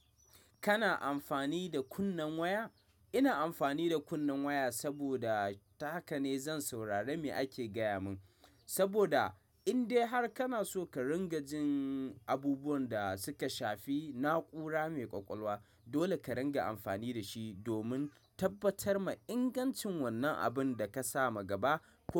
Kana amfani da kunnen waya? Ina amfani da kunnen waya saboda ta haka ne zan saurari me ake gaya mun. Saboda indai har kana so ka ringa jin abubuwan da suka shafi na'ura mai ƙwaƙwalwa, dole ka ringa amfani da shi domin tabbatar ma ingancin wannan abun da ka sa ma gaba.